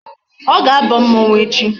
Ọ ga-aba mmọnwụ echi.